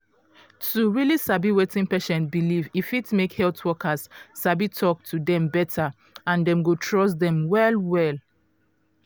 to um sabi wetin patient believe e fit make health workers sabi talk to dem beta and dem go trust dem well well.